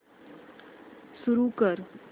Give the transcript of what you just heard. सुरू कर